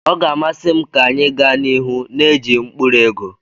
Ọ ga-amasị m ka anyị gaa n'ihu na-eji mkpụrụ ego.